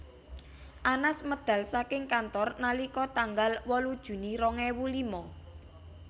Anas medal saking kantor nalika tanggal wolu Juni rong ewu lima